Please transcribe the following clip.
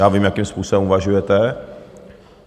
Já vím, jakým způsobem uvažujete.